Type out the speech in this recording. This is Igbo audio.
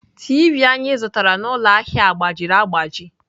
Tiivi anyị zụtara n'ụlọ ahịa a gbajiri agbaji.